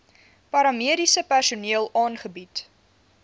paramediese personeel aangebied